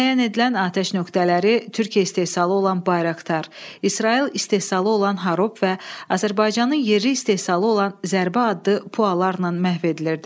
Müəyyən edilən atəş nöqtələri Türkiyə istehsalı olan Bayraktar, İsrail istehsalı olan Harop və Azərbaycanın yerli istehsalı olan Zərbə adlı PUAlarla məhv edilirdi.